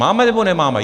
Máme, nebo nemáme?